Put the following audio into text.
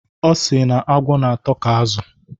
Ọ sị anụ agwọ n'atọ ka azụ